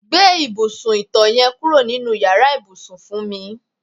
Gbé ìbùsùn ìto̩ ye̩n kúrò nínú yàrá ìbùsùn fún mi.